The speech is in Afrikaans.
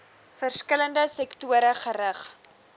verskillende sektore gerig